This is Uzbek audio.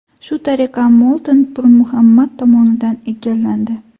Shu tariqa Mo‘lton Pirmuhammad tomonidan egallandi.